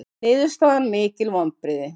Niðurstaðan mikil vonbrigði